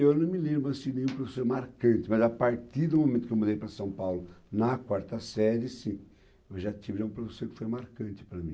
Eu não me lembro assim, de nenhum professor marcante, mas a partir do momento que eu mudei para São Paulo, na quarta série, sim, eu já tive um professor que foi marcante para mim.